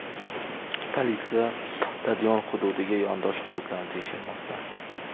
Politsiya stadion hududiga yondosh hududlarni tekshirmoqda.